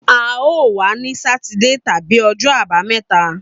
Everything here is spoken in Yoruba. A o wa ni Sátidé tabi ọjọ abameta